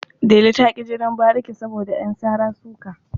Delu ta ƙi jinin bariki saboda ƴan sara-suka.